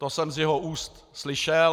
To jsem z jeho úst slyšel.